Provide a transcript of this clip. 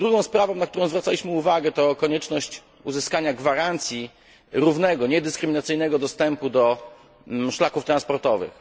Druga sprawa, na którą zwracaliśmy uwagę to konieczność uzyskania gwarancji równego, niedyskryminacyjnego dostępu do szlaków transportowych.